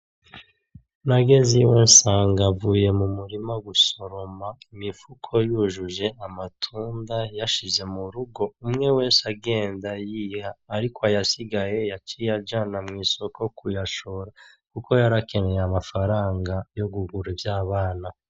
Nageze iwe nsanga avuye mu murima gusoroma imifuko yujuje amatunda, yashize mu rugo, umwe wese agenda yiha. Ariko ayasigaye yaciye ajana mw'isoko kuyashora kuko yarakeneye amafaranga yo kugura ivyabana.